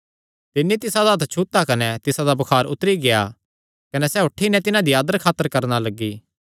तिन्नी तिसादा हत्थ छुता कने तिसादा बुखार उतरी गेआ कने सैह़ उठी नैं तिसदी आदर खातर करणा लग्गी